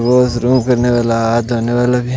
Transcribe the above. वे इस रूह के नेवला है धन्यवाद लगे।